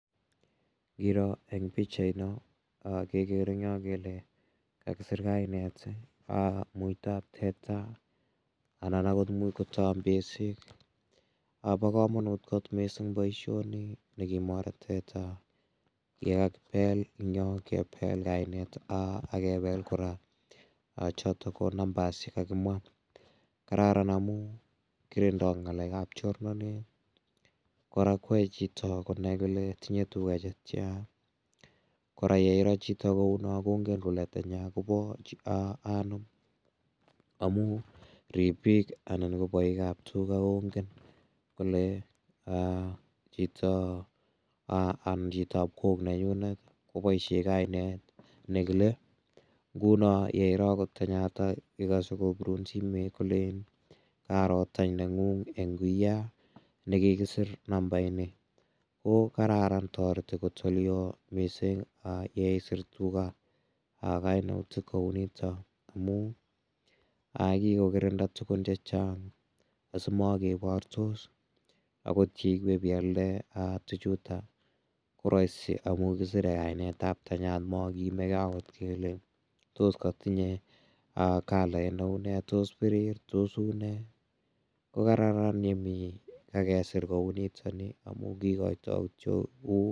Ngiro eng' pikchaino kekere eng' yo kele kakisir kainet muitoab teta anan akot muuch ko tombeshik bo komonut kot mising' boishoni nekimore teta kebel kainet akebel kora chotok ko numbers chekakimwa kararan amu kirindoi ng'alekab chornonet kora koyoei chito konai kole tinyei tuga chetya kora yeiro chito ko uu no kongen kole tanya kobo anom amu ribik anan ko boikab tuga kongen kole chito anan chitoab kok nenyunet koboishe kainet nekile nguno yeiro akot tanyata ikose kobirun simet kolen karo tany neng'ung' eng' wiyaa nekikisir nambaini ko kararan toret ole oo mising' yeisir tuga kainutik kou nito amu kikokirinda tukun chechang' asimakebortos akot ngiwe bialde tuchuto ko rahisi amu kisirei kainetab tanyata makeimegei akot kele tos katinyei kalait ne uu nee tos pirir tos uu ne ko kararan ye mi kakesir kouu nitoni amu kokoitoi kityo